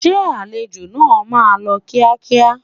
Ṣé àlejò náà máa lọ kíákíá?